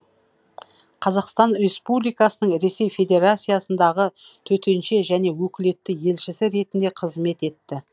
қазақстан республикасының ресей федерациясындағы төтенше және өкілетті елшісі ретінде қызмет етті